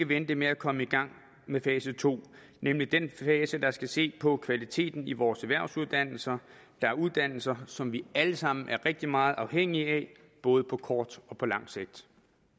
vente med at komme i gang med fase to nemlig den fase hvor der skal ses på kvaliteten i vores erhvervsuddannelser det er uddannelser som vi alle sammen er rigtig meget afhængige af både på kort og lang sigt